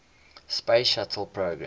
space shuttle program